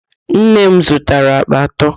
Nne m zụtara àkpà atọ.